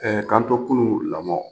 k'an to kunun lamɔn